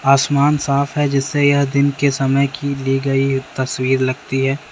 आसमान साफ है जिससे यह दिन के समय की ली गई एक तस्वीर लगती है।